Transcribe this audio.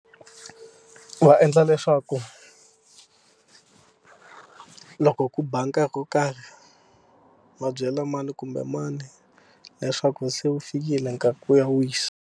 Va endla leswaku ku loko ku ba nkarhi wo karhi va byela mani kumbe mani leswaku se wu fikile nkarhi ku ya wisa.